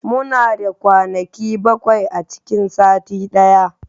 Muna da kwanaki bakwai a cikin sati daya